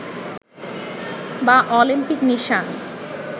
বা অলিম্পিক নিশান